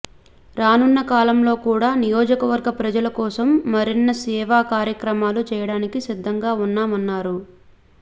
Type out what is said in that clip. రానున్న కాలంలో కూడా నియోజకవర్గ ప్రజల కోసం మరిన్నిసేవా కార్యక్రమాలు చేయడానికి సిద్ధంగా ఉన్నామన్నారు